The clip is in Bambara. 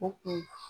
O kun